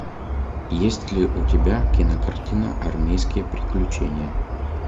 есть ли у тебя кинокартина армейские приключения